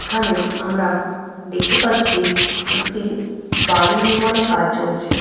এখানে আমরা দেখতে পাচ্ছি একটি বাড়ি নির্মাণে এর কাজ চলছে।